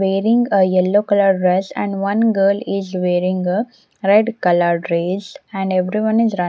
Wearing a yellow colour dress and one girl is wearing a red dress and everyone is run --